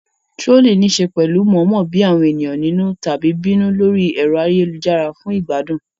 Trolling ní í ṣe pẹ̀lú mọ̀ọ́mọ̀ bí àwọn ènìyàn nínú tàbí bínú lórí ẹ̀rọ ayélujára fún ìgbádùn.